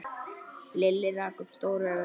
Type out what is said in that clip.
Lilli rak upp stór augu.